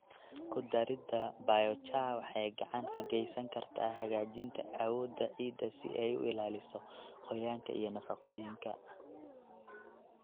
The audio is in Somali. Ku darida biochar waxay gacan ka geysan kartaa hagaajinta awoodda ciidda si ay u ilaaliso qoyaanka iyo nafaqooyinka.